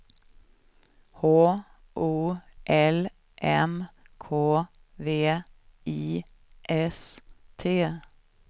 H O L M K V I S T